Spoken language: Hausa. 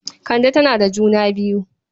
Kande tana da juna biyu.